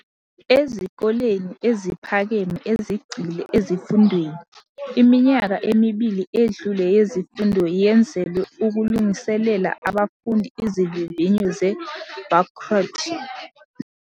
Ezikoleni eziphakeme ezigxile ezifundweni, iminyaka emibili edlule yezifundo yenzelwe ukulungiselela abafundi izivivinyo ze-bagrut.